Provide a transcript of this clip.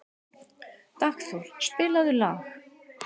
Dagþór, spilaðu lag.